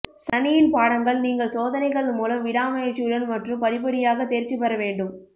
சனியின் பாடங்கள் நீங்கள் சோதனைகள் மூலம் விடாமுயற்சியுடன் மற்றும் படிப்படியாக தேர்ச்சி பெற வேண்டும்